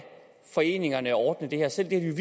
foreningerne ordne det her selv det har